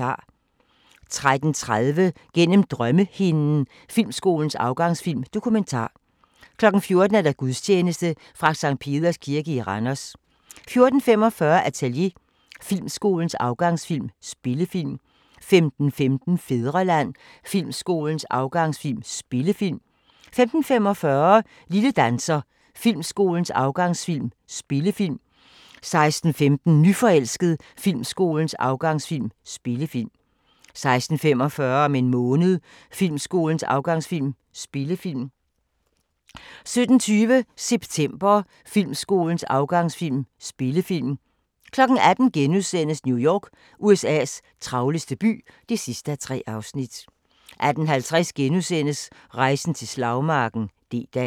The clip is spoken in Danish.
13:30: Gennem drømmehinden – Filmskolens afgangsfilm: Dokumentar 14:00: Gudstjeneste fra Sct. Peders Kirke i Randers 14:45: Atelier – Filmskolens afgangsfilm: Spillefilm 15:15: Fædreland – Filmskolens afgangsfilm: Spillefilm 15:45: Lille danser – Filmskolens afgangsfilm: Spillefilm 16:15: Nyforelsket – Filmskolens afgangsfilm: Spillefilm 16:45: Om en måned – Filmskolens afgangsfilm: Spillefilm 17:20: September – Filmskolens afgangsfilm: Spillefilm 18:00: New York – USA's travleste by (3:3)* 18:50: Rejsen til slagmarken: D-dag *